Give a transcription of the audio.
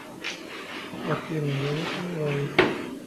афина я не сомневаюсь